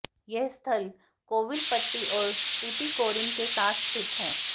यह स्थल कोविलपट्टी और टुटीकोरिन के पास स्थित है